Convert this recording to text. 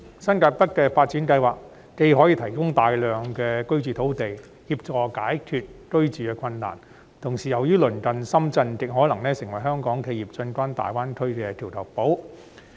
新界北的發展既可以提供大量居住用地，協助解決居住困難的問題，同時亦因鄰近深圳而極可能成為香港企業進軍大灣區的橋頭堡。